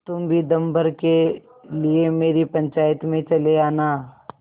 तुम भी दम भर के लिए मेरी पंचायत में चले आना